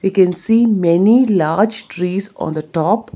We can see many large trees on the top.